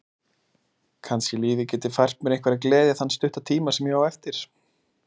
Kannski lífið geti fært mér einhverja gleði þann stutta tíma sem ég á eftir.